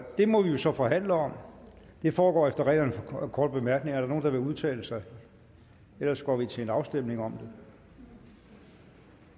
det må vi så forhandle om det foregår efter reglerne om korte bemærkninger er der nogen der vil udtale sig ellers går vi til en afstemning om det